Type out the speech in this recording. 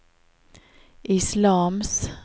islams